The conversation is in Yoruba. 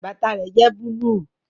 Bàtà rẹ jẹ́ búlúù